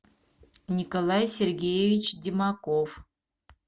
николай сергеевич демаков